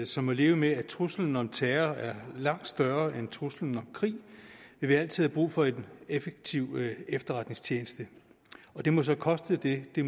som må leve med at truslen om terror er langt større end truslen om krig vil vi altid have brug for en effektiv efterretningstjeneste og det må så koste det det